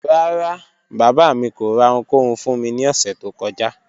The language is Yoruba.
Ràrá, baba mi kò rà ọ̀hùnkòhùn fún mí ni òṣẹ tó kọ́jà